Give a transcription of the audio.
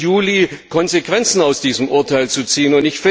12. Juli Konsequenzen aus diesem Urteil zu ziehen.